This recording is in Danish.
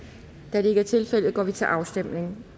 da det ikke er tilfældet går vi til afstemning